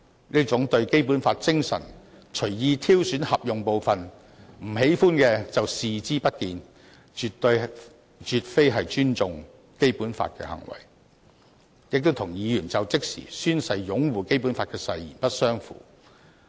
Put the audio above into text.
這樣對《基本法》精神隨意挑選合用部分，不喜歡的就視而不見，絕非尊重《基本法》的行為，亦與議員就職時宣誓擁護《基本法》的誓言不相符。